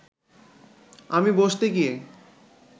আমি বসতে গিয়ে